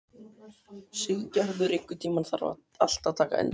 Siggerður, einhvern tímann þarf allt að taka enda.